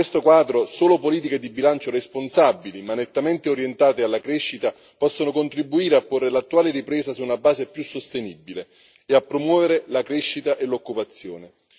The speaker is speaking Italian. In questo quadro, solo politiche di bilancio responsabili, ma nettamente orientate alla crescita possono contribuire a porre l'attuale ripresa su una base più sostenibile e a promuovere la crescita e l'occupazione.